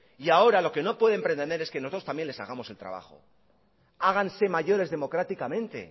y ahora lo que no pueden pretender es que nosotros también les hagamos el trabajo háganse mayores democráticamente